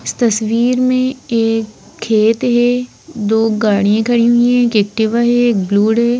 इस तस्वीर में एक खेत है दो गाड़ियां खड़ी हुई हैं एक एक्टिवा है एक ब्लूड है।